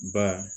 Ba